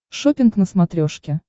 шоппинг на смотрешке